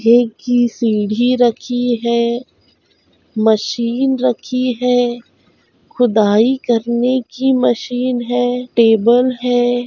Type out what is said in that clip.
हे की सीढ़ी रखी है मशीन रखी है खुदाई करने की मशीन है टेबल है।--